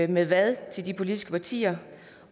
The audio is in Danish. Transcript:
med hvad til de politiske partier